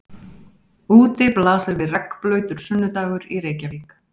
Úti blasir við regnblautur sunnudagur í Reykjavík.